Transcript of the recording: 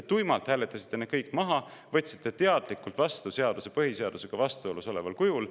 Te tuimalt hääletasite need kõik maha, võtsite teadlikult vastu seaduse põhiseadusega vastuolus oleval kujul.